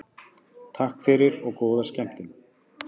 Takk fyrir og góða skemmtun.